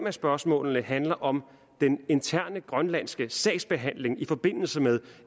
af spørgsmålene handler om den interne grønlandske sagsbehandling i forbindelse med